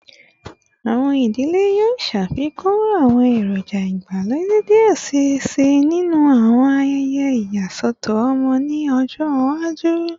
Awọn idile yoo ṣafikun awọn eroja igbalode diẹ sii sinu awọn ayẹyẹ iyasọtọ ọmọ ni ọjọ iwaju